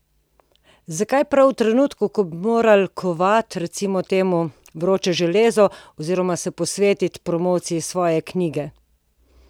Zakaj prav v trenutku, ko bi morali kovati, recimo temu, vroče železo oziroma se posvetiti promociji svoje knjige?